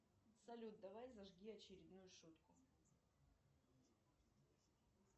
салют давай зажги очередную шутку